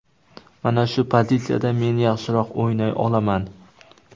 Mana shu pozitsiyada men yaxshiroq o‘ynay olaman.